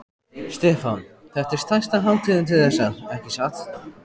Stefán: Þetta er stærsta hátíðin til þessa, ekki satt?